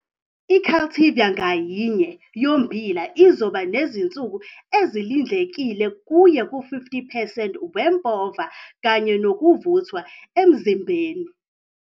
I-cultivar ngayinye yommbila izoba nezinsuku ezilindlekile kuye ku-50 percent wempova kanye nokuvuthwa emzimbeni.